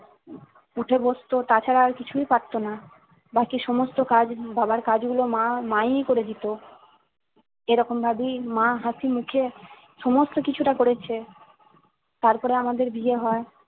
উঠে বস্তু তাছাড়া আর কিছুই পারতো না বাকি সমস্ত কাজ বাবার কাজ গুলো মা মা ই করে দিতো এরকম ভাবেই মা হাঁসিমুখে সমস্ত কিছুটা করেছে তারপরে আমাদের বিয়ে হয়